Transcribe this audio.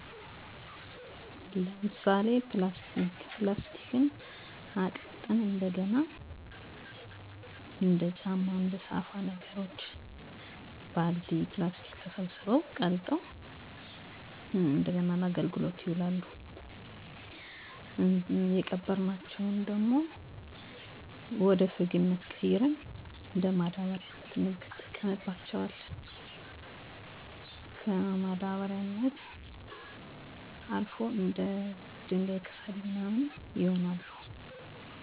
ማህበረሰባችን ቆሻሻን በሁለት መንገድ ይለያል ደረቅ እና እርጥብ ቆሻሻ ብለው ደረቅ ቆሻሻን ማቃጠል እርጥብ ቆሻሻን መቅበር እና ደግሞ ህብረተሰቡን በማስተማር የቆሻሻን አወጋገድ እና ሌላው ደግሞ አስፈላጊ የሆኑትን ደግሞ እንደገና በመጠቀም አገልግሎት ይውላሉ ለምሳሌ ፕላስቲክ አይነት ጎማዎችን በመጠቀም አቅልጠው ለተለያየ ነገር ይውላሉ እናም ለማህበረሰቡ ትምህርት እየሰጠን ጥቅም ለይ እንድውል እየተጠቀሙት ይገኛሉ እሄን መንገድ ማንኛውም ነገር ጥቅም እንዳለው ሁሉ ተገንዝቦ እየተጠቀመበት ይገኛል